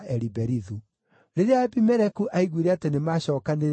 Rĩrĩa Abimeleku aiguire atĩ nĩmacookanĩrĩire kuo-rĩ,